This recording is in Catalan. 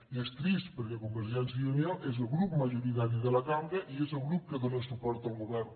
i és trist perquè convergència i unió és el grup majoritari de la cambra i és el grup que dóna suport al govern